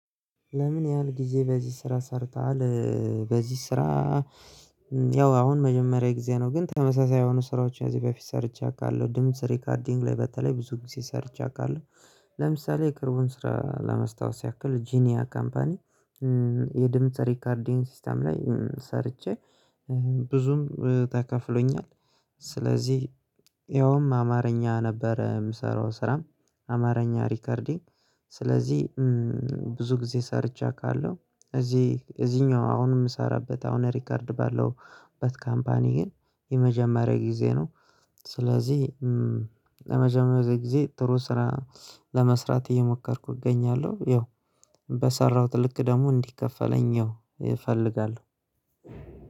ለምን ያህል ጊዜ በዚህ ስራ ሰርተሃል? በዚህ ስራ ያው አሁን መጀመሪያ ጊዜ ነው ግን ተመሳሳይ የሆኑ ስራዎች እዚህ በፊት ሰርቻለሁ። ድምጽ ሪከርዲንግ ላይ በተለይ ብዙ ጊዜ ሰርቻለሁ። ለምሳሌ የቅርቡን ስራ ለመስታወስ ያክል ጂኒያ ካምፓኒ። የድምጽ ሪከርዲንግ ሲስተም ላይ ሰርቼ ብዙም ተከፍሎኛል። ስለዚህ ያውም አማርኛ ነበረ ምሰራው ስራም አማርኛ ሪከርዲንግ። ስለዚህ ብዙ ጊዜ ሰርቸ አቃለሁ። እዚህ እዚህኛው አሁን የምሰራበት አሁን ሪከርድ ባለሁበት ካምፓኒየ ግን የመጀመሪያ ጊዜ ነው። ስለዚህ ለመጀመሪያ ጊዜ ጥሩ ስራ ለመስራት እየሞከርኩ እገኛለሁ። ያው በሰራሁት ልክ ደግሞ እንዲከፈለኝ ያው እፈልጋለሁ።